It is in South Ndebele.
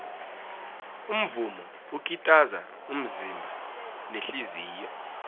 umvumo ukitaza umzimba nehliziyo